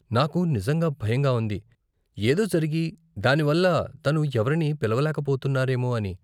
నాకు నిజంగా భయంగా ఉంది, ఏదో జరిగి, దానివల్ల తను ఎవరిని పిలవలేక పోతున్నారేమో అని .